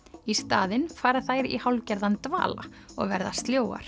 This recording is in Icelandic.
í staðinn fara þær í hálfgerðan dvala og verða